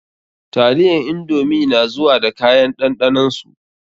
Taliyan indomi na zuwa da kayan ɗanɗanon su.